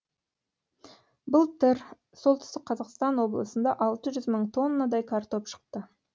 былтыр солтүстік қазақстан облысында алты жүз мың тоннадай картоп шықты